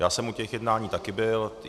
Já jsem u těch jednání také byl.